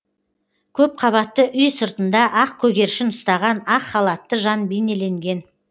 көпқабатты үй сыртында ақ көгершін ұстаған ақ халатты жан бейнеленген